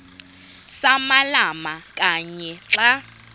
samalama kanye xa